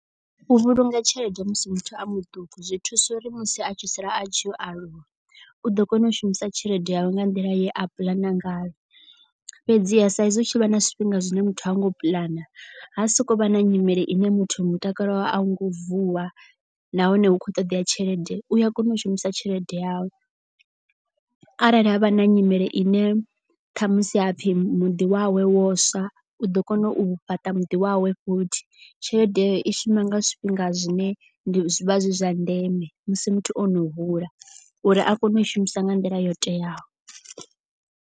U vhulunga tshelede musi muthu a muṱuku zwi thusa uri musi a tshi sala a tshi ya u aluwa u ḓo kona u shumisa tshelede yawe nga nḓila ye a puḽana ngayo. Fhedziha sa izwi u tshi vha na zwifhinga zwine muthu anga u puḽana ha sokou vha na nyimele ine muthu mutakalo wawe a u ngo vuwa. Nahone hu khou ṱoḓea tshelede u a kona u shumisa tshelede yawe. Arali havha na nyimele ine kha musi hapfi muḓi wawe wo swa u ḓo kona u fhaṱa muḓi wawe futhi. Tshelede i shuma nga zwifhinga zwine zwivha zwi zwa ndeme musi muthu ono hula uri a kone u i shumisa nga nḓila yo teaho.